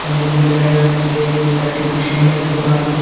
সামনের দিকে দেখা যাচ্ছে একটি দোকান।